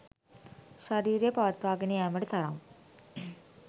ශරීරය පවත්වාගෙන යෑමට තරම්